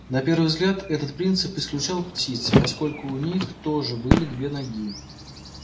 на первый взгляд этот принцип исключал птиц поскольку у них тоже были две ноги